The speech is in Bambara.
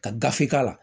Ka gafe k'a la